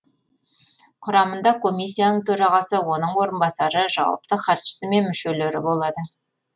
құрамында комиссияның төрағасы оның орынбасары жауапты хатшысы мен мүшелері болады